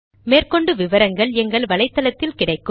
மேற்கொண்டு விவரங்கள் எங்கள் வலைத்தளத்தில் கிடைக்கும்